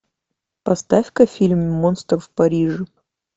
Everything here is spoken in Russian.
поставь ка фильм монстр в париже